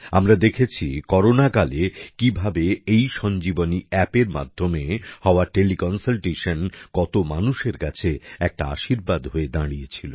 আমরা দেখেছি কোরোনাকালে কিভাবে এই ইসঞ্জীবনী এপ এর মাধ্যমে হওয়া টেলিকনসালটেশন কত মানুষের কাছে একটা আশীর্বাদ হয়ে দাঁড়িয়েছিল